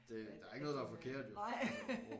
At at din øh nej